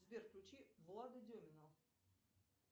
сбер включи влада демина